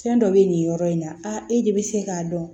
Fɛn dɔ bɛ nin yɔrɔ in na e de bɛ se k'a dɔn